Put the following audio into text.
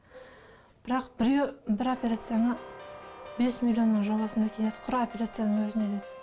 бірақ бір операцияны бес миллионның жобасында келеді құр операцияның өзіне деді